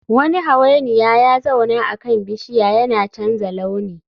Wani hawainiya ya zauna akan bishiya yana canza launi